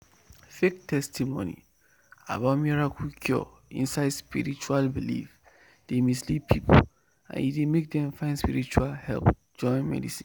fake testimony about miracle cure inside spiritual belief dey mislead people and e dey make dem find spiritual help join medicine."